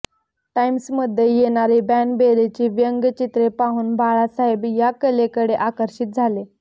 टाइम्समध्ये येणारी बॅनबेरीची व्यंगचित्रे पाहून बाळासाहेब या कलेकडे आकर्षित झाले